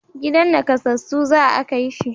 Gidan nakassasu za a kai shi